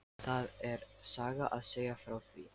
Það er saga að segja frá því.